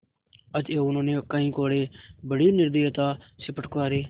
अतएव उन्होंने कई कोडे़ बड़ी निर्दयता से फटकारे